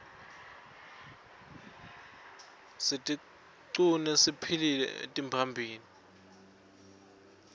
sitiqune siphilcle emtimbani